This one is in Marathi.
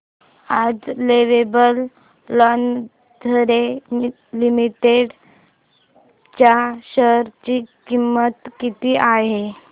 आज लवेबल लॉन्जरे लिमिटेड च्या शेअर ची किंमत किती आहे